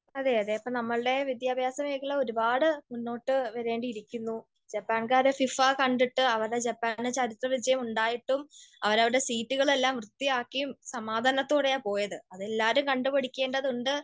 അതെയതെ. അപ്പൊ നമ്മൾടെ വിദ്യാഭ്യാസ മേഖല ഒരുപാട് മുന്നോട്ട് വരേണ്ടിയിരിക്കുന്നു. ജപ്പാൻകാർ ഫിഫ കണ്ടിട്ട് അവരുടെ ജപ്പാന് ചരിത്ര വിജയം ഉണ്ടായിട്ടും അവർ അവരുടെ സീറ്റുകൾ എല്ലാം വൃത്തിയാക്കി സമാധാനത്തോടെ ആണ് പോയത്. അത് എല്ലാരും കണ്ട പഠിക്കേണ്ടതുണ്ട്.